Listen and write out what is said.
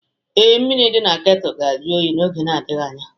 Ee, mmiri dị na kettle ga-ajụ oyi n'oge na-adịghị anya